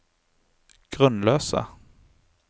grunnløse